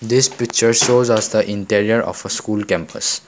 this picture shows us the interior of a school campus.